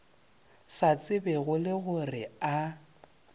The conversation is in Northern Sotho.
sa tsebego le gore a